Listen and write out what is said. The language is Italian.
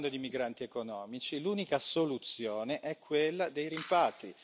Stiamo parlando di migranti economici, l'unica soluzione è quella dei rimpatri.